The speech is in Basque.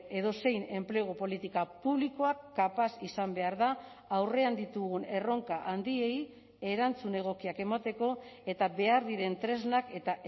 edozein enplegu politika publikoak kapaz izan behar da aurrean ditugun erronka handiei erantzun egokiak emateko eta behar diren tresnak eta